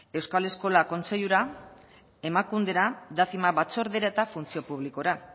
euskal eskola kontseilura emakundera dacima batzordera eta funtzio publikora